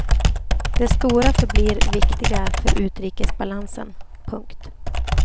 De stora förblir viktiga för utrikesbalansen. punkt